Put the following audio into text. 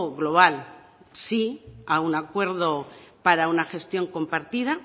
global sí a un acuerdo para una gestión compartida